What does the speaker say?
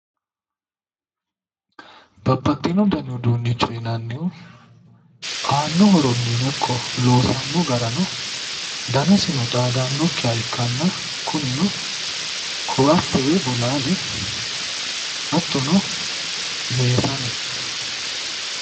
Babbaxxino dani uduunnicho yinannihu aanno horonniino ikko loosammo garano danasino xaadannokkiha ikkanna kunino ko"atte woyi bolaale hattono meesane